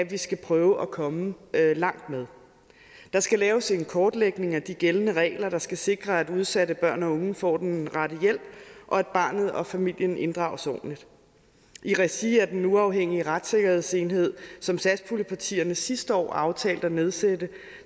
vi skal prøve at komme langt med der skal laves en kortlægning af de gældende regler der skal sikre at udsatte børn og unge får den rette hjælp og at barnet og familien inddrages ordentligt i regi af den uafhængige retssikkerhedsenhed som satspuljepartierne sidste år aftalte at nedsætte